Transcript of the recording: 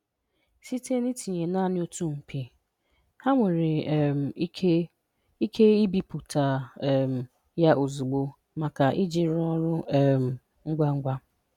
Site na tinye naanị otu mpi, ha nwere um ike ike ibiputa um ya ozugbo maka iji rụọ ọrụ um ngwa ngwa.